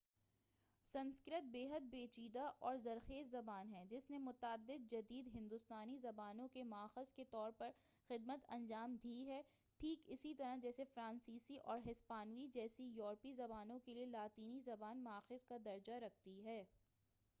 سنسکرت بیحد پیچیدہ اور زرخیز زبان ہے جس نے متعدد جدید ہندوستانی زبانوں کے ماخذ کے طور پر خدمت انجام دی ہے ٹھیک اسی طرح جیسے فرانسیسی اور ہسپانوی جیسی یوروپی زبانوں کیلئے لاطینی زبان ماخذ کا درجہ رکھتی ہے